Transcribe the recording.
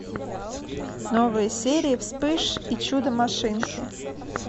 новые серии вспыш и чудо машинки